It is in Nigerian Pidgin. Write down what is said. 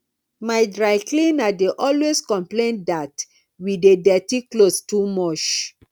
my dry cleaner dey always complain that we dey dirty clothes too much